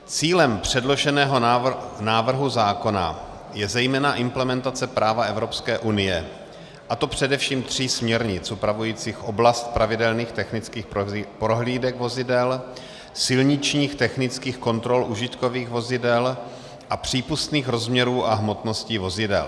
Cílem předloženého návrhu zákona je zejména implementace práva Evropské unie, a to především tří směrnic upravujících oblast pravidelných technických prohlídek vozidel, silničních technických kontrol užitkových vozidel a přípustných rozměrů a hmotností vozidel.